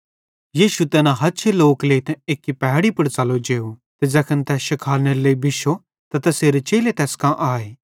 यीशु तैना हछे लोक लेइतां एक्की पहैड़ी पुड़ च़लो जेव ते ज़ैखन तै शिखालनेरे लेइ बिश्शो त तैसेरे चेले तैस कां आए